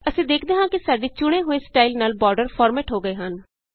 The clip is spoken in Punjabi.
ਅਸੀਂ ਦੇਖਦੇ ਹਾਂ ਕਿ ਸਾਡੇ ਚੁਣੇ ਹੋਏ ਸਟਾਈਲ ਨਾਲ ਬਾਰਡਰ ਫਾਰਮੈੱਟ ਹੋ ਗਏ ਹਨ